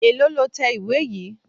Èlòó lo tẹ ìwé yìí?